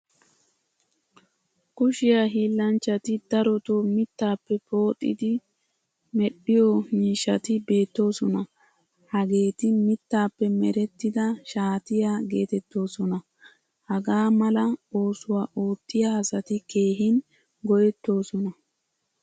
Kushiyaa hillanchchati daroto mittappe pooxidi medhdhiyo miishshati beetososna. Hageeti mittappe merettida shaatiyaa geetettosona. Hagaa mala oosuwaa oottiya asati keehin go'ettoosona.